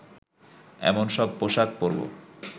এমন সব পোশাক পরবো